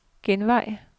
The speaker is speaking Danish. genvej